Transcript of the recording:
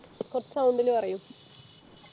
കുറച്ചു sound ലു പറയു